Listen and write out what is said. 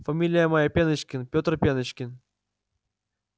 фамилия моя пеночкин петр пеночкин